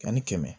Ani kɛmɛ